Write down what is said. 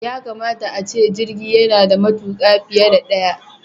Yakamata ace jirgi yana da matuƙa biye da ɗaya.